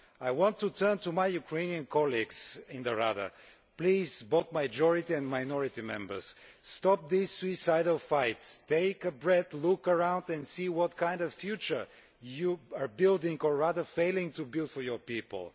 I appeal to my Ukrainian colleagues in the Verkhovna Rada please, both majority and minority Members, stop these suicidal fights, take a deep breath, look around and see what kind of future you are building or rather failing to build for your people.